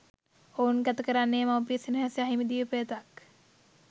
ඔවුන් ගතකරන්නේ මව්පිය සෙනෙහස අහිමි දිවි පෙවතක්